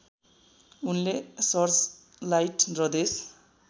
उनले सर्चलाइट र देश